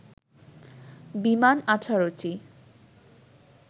বিমান ১৮টি